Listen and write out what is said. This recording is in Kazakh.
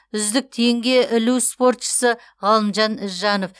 үздік теңге ілу спортшысы ғалымжан ізжанов